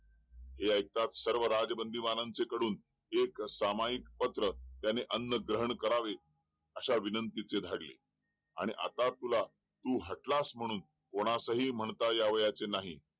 हे ऐकताच सर्व राज्य बंदीवाना कडून त्याने सामायिक पत्र त्याने अन्न ग्रहण करावे अश्या विनंती चे धाडले आणि आता तुला तू हडलास म्हणू कोणास हि म्हणता यावयाचे नाही